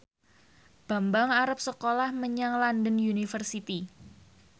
Bambang arep sekolah menyang London University